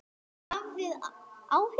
Hafið þið áhyggjur?